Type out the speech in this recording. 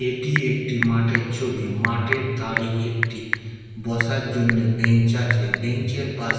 এটি একটি মাঠের ছবি। মাঠের ধরে একটি বসার জন্য বেঞ্চ আছে। বেঞ্চ এর পাস --